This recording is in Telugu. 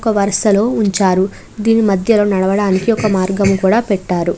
ఒక్క వరుసలో ఉంచారు. దీని మధ్యలో నడవడానికి ఒక మార్గం కూడా పెట్టారు.